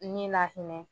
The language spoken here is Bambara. Ni lahinɛ